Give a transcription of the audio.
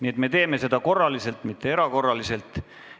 Aga me teeme seda korraliselt, mitte erakorraliselt.